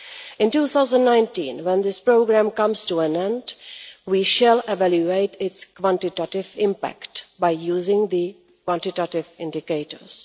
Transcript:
In 2019, when this programme comes to an end, we shall evaluate its quantitative impact using the quantitative indicators.